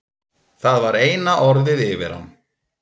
Það var eina orðið yfir hann.